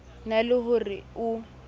na le ho re o